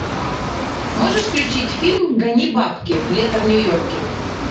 можешь включить фильм гони бабки лето в нью йорке